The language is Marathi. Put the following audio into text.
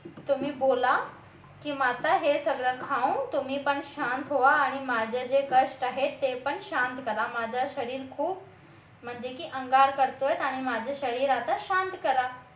तुम्ही बोला की माता आता हे सगळं खाऊन तुम्ही पण शांत व्हा आणि माझे जे कष्ट आहेत ते पण शांत करा माझं शरीर खूप म्हणजे की अंगार करतोय आणि माझे शरीर आता शांत करा